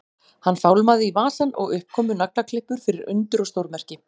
Hann fálmaði í vasann og upp komu naglaklippur fyrir undur og stórmerki.